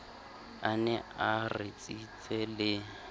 a ne a ritsitse le